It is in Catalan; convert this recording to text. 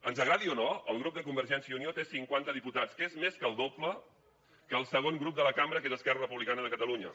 ens agradi o no el grup de convergència i unió té cinquanta diputats que és més del doble que el segon grup de la cambra que és esquerra republicana de catalunya